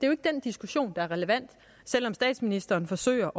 jo ikke den diskussion der er relevant selv om statsministeren forsøger